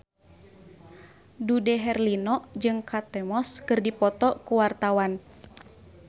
Dude Herlino jeung Kate Moss keur dipoto ku wartawan